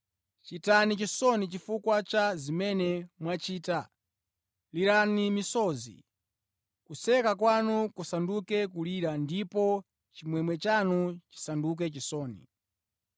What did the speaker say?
Chitani chisoni chifukwa cha zimene mwachita, lirani misozi. Kuseka kwanu kusanduke kulira, ndipo chimwemwe chanu chisanduke chisoni.